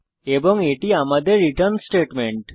এবং এটি আমাদের রিটার্ন স্টেটমেন্ট